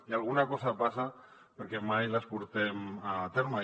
i alguna cosa passa perquè mai les portem a terme